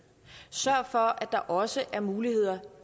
sørg for at der også er muligheder